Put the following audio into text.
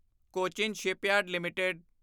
Cochin shipyard LTD